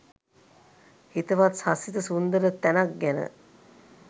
හිතවත් හසිත සුන්දර තැනක් ගැන